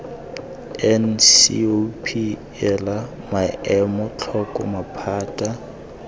ncop ela maemo tlhoko maphata